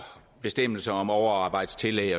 bestemmelser om overarbejdstillæg